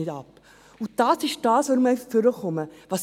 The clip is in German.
Das ist der Grund, weshalb ich nach vorne gekommen bin.